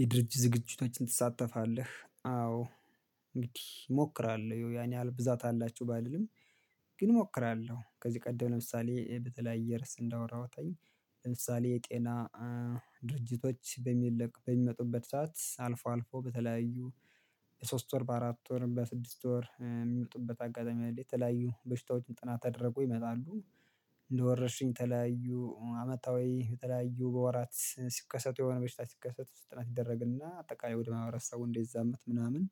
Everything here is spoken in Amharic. የድርጅት ዝግጅቶችን ትሳተፋለህ? አዎ እንግዲህ እሞክራለሁ ያን ያህል ብዛት አላችሁ ባልልም። ግን እሞክራለሁ ከዚህ ቀደም ለምሳሌ በተለያየ ርዕስ እንዳወራሁት ለምሳሌ የጤና ድርጅቶች በሚልቅ በሚመጡበት ሰዓት አልፎ አልፎ በተለያዩ በሶስት ወር በአራት ወር በስድስት ወር የሚመጡበት አጋጣሚ አለ የተለያዩ በሽታዎችም ጥናት አድርጎ ይመጣሉ። እንደወረርሽኝ የተለያዩ አመታዊ የተለያዩ በወራት ሲከሰቱ የሆነ በሽታ ሲከሰቱ ጥናት ይደረግና አጠቃላይ ወደ ማማህበረሰቡ እንዳይዛመት ምናምን።